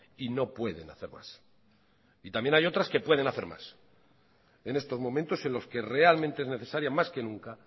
y no pueden hacer más y también hay otras que pueden hacer más en estos momentos en los que realmente es necesaria más que nunca